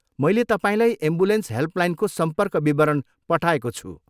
मैले तपाईँलाई एम्बुलेन्स हेल्पलाइनको सम्पर्क विवरण पठाएको छु।